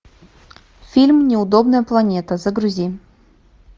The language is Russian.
фильм неудобная планета загрузи